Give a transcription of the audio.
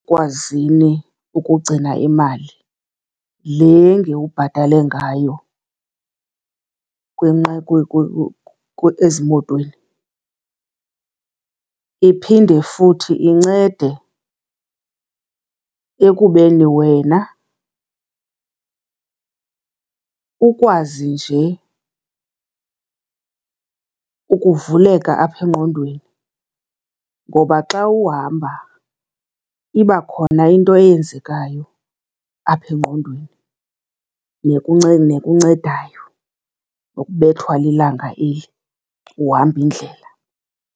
Ekwazini ukugcina imali le ngewubhatale ngayo ezimotweni, iphinde futhi incede ekubeni wena ukwazi nje ukuvuleka apha engqondweni. Ngoba xa uhamba iba khona into eyenzekayo apha engqondweni nekuncedayo, nokubethwa lilanga eli uhamba indlela.